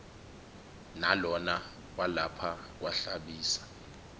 nalona walapha kwahlabisa